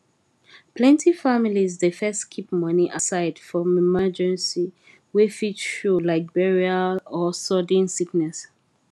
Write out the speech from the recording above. plenty families dey first keep money aside for emergency wey fit show like burial or sudden sickness